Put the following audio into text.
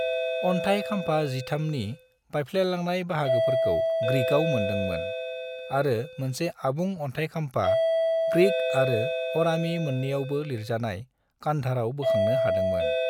अन्थाय खाम्फा 13 नि बायफ्लेलांनाय बाहागोफोरखौ ग्रीकआव मोनदोंमोन, आरो मोनसे आबुं अन्थाय खाम्फा, ग्रीक आरो अरामी मोन्नैयावबो लिरजानाय, कंधाराव बोखांनो हादोंमोन।